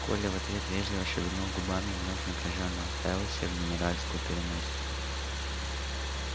коля в ответ вежливо шевельнул губами и вновь напряжённо уставился в генеральскую переносицу